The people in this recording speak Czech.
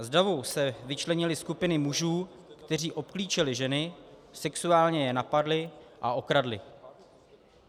Z davu se vyčlenily skupiny mužů, kteří obklíčili ženy, sexuálně je napadli a okradli.